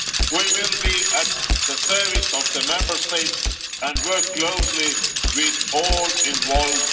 We will be at the service of the Member States and work closely with all EU institutions involved.